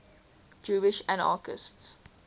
jewish anarchists